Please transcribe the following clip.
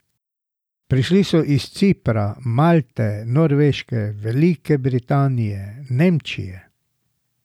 Prišli so iz Cipra, Malte, Norveške, Velike Britanije, Nemčije.